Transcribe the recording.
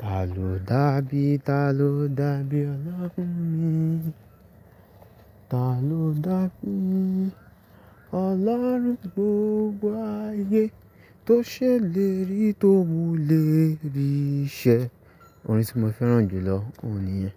ta ló dà bí, ta ló dà bí ọlọ́run mi, ta ló dà bí ọlọ́run gbogbo ayé, tó ṣe lérí tó mú lérí ṣẹ. Orin tí mo fẹ́ràn jùlọ òun nìyí.